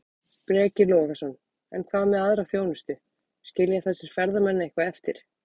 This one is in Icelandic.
Breki Logason: En hvað með aðra þjónustu, skilja þessir ferðamenn eitthvað eftir?